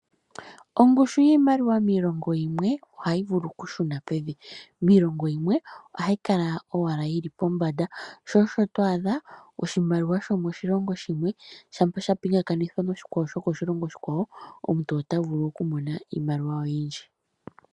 Ongushu yiimaliwa miilongo yimwe ohayi vulu oku shuna pevi, miilongo yimwe ohayi kala owala yili pombanda, sho osho to adha oshimaliwa shomoshilongo shimwe shampa sha pingakanithwa nokoshilongo oshikwawo, omuntu ota vulu oku mona iimaliwa oyindji.